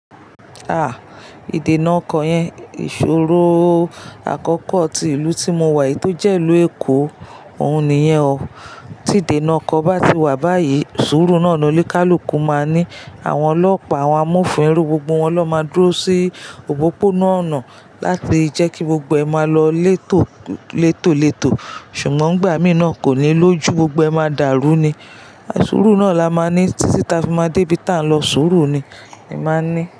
Ah! Ìdènà ọkọ̀ yẹn, ìṣòro àkọ́kọ́ tí ìlú tí mo wà yìí tó jẹ́ ìlú Èkó òhun nìyẹn o. Tí ìdènà ọkọ̀ bá ti wà báyìí, sùúrù náà ni oní kálùkù máa ní àwọn ọlọ́pàá àwọn amófin irú gbogbo wọn ni won máa dúró sí òpópónà ọ̀nà láti jẹ́ kí gbogbo ẹ máa lọ létò létò létò. Ṣùgbọ́n n gbà mìí na kò ní lójú gbogbo ẹ máa dàrú ni. Sùúrù náà la máa ní títí táa fi máa dé ibi táa n lọ sùúrù ni, ni màá n ní.